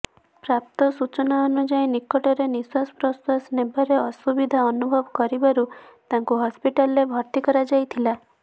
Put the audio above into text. ପ୍ରାପ୍ତ ସୂଚନାନୁଯାୟୀ ନିକଟରେ ନିଶ୍ୱାସ ପ୍ରଶ୍ୱାସ ନେବାରେ ଅସୁବିଧା ଅନୁଭବ କରିବାରୁ ତାଙ୍କୁ ହସ୍ପିଟାଲରେ ଭର୍ତ୍ତି କରାଯାଇଥିଲା